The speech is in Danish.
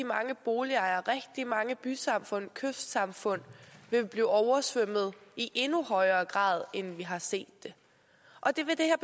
mange boligejere rigtig mange bysamfund og kystsamfund vil blive oversvømmet i endnu højere grad end vi hidtil har set det og det vil det her